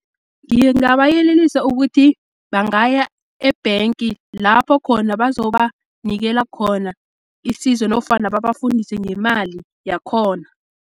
Iye, ngabayelelisa ukuthi, bangaya e-bank, lapho khona bazobanikela khona isizo, nofana babafundise ngemali yakhona.